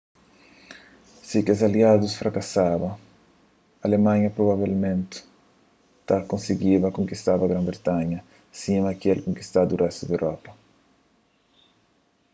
si kes aliadus frakasaba alemanha provavelmenti ta konsigiba konkistaba gran-britanha sima el tinha konkistadu réstu di europa